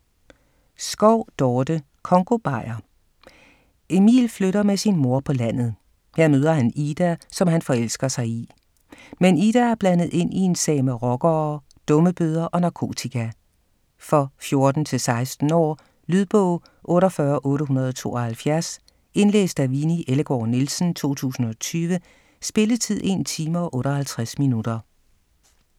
Schou, Dorte: Congobajer Emil flytter med sin mor på landet. Her møder han Ida, som han forelsker sig i. Men Ida er blandet ind i en sag med rockere, dummebøder og narkotika. For 14-16 år. Lydbog 48872 Indlæst af Winni Ellegaard Nielsen, 2020. Spilletid: 1 time, 58 minutter.